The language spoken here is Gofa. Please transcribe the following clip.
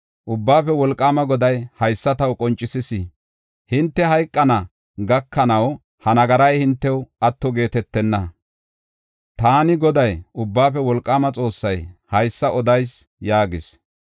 Ubbaafe Wolqaama Goday haysa taw qoncisis; “Hinte hayqana gakanaw ha nagaray hintew atto geetetenna. Taani Goday, Ubbaafe Wolqaama Xoossay haysa odayis” yaagis.